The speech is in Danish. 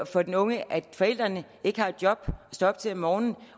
for den unge at forældrene ikke har et job at stå op til om morgenen